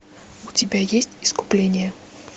у тебя есть искупление